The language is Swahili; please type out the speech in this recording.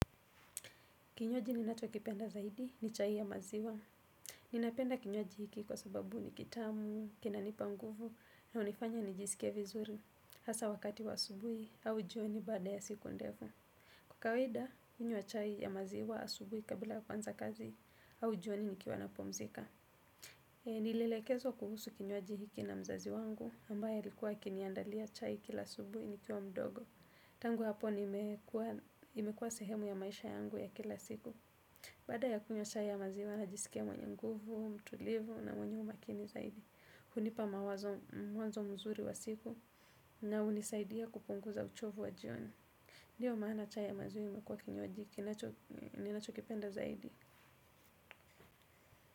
Kinywaji ninachokipenda zaidi ni chai ya maziwa. Ninapenda kinywaji hiki kwa sababu ni kitamu, kinanipa nguvu, na hunifanya nijisike vizuri. Hasa wakati wa asubuhi au jioni baada ya siku ndefu. Kwa kawaida, hunywa chai ya maziwa asubuhi kabla kuanza kazi au jioni nikiwa napumzika. Nilielekezwa kuhusu kinywaji hiki na mzazi wangu, ambaye alikuwa akiniandalia chai kila asubuhi nikiwa mdogo. Tangu hapo imekuwa sehemu ya maisha yangu ya kila siku. Baada ya kunywa chai ya maziwa, najisikia mwenye nguvu, mtulivu na mwenye umakini zaidi. Hunipa mwazo mzuri wa siku, na hunisaidia kupunguza uchovu wa jioni. Ndio maana chai ya maziwa imekuwa kinywaji, ninachokipenda zaidi.